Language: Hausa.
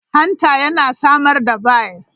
Hanta yana samar da bile.